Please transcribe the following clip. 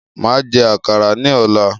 Máa jẹ àkàrà ni ọ̀la